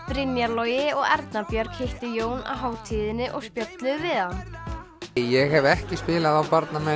Brynjar Logi og Erna Björg hittu Jón á hátíðinni og spjölluðu við hann ég hef ekki spilað á